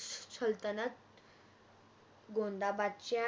सल्तनत अं गोंदाबादच्या